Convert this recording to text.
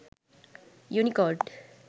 unicode